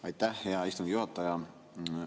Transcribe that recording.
Aitäh, hea istungi juhataja!